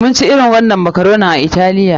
Mun ci irin wannan makaronin a Italiya.